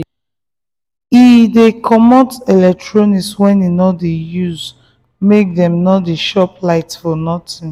he dey comot electronics wey he no dey usemake dem no dey chop light for nothing.